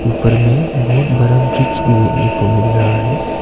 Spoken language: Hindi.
ऊपर में बहुत बड़ा ब्रिज भी देखने को मिल रहा है।